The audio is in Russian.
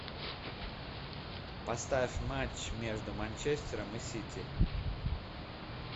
поставь матч между манчестером и сити